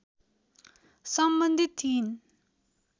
सम्बन्धित थिइन्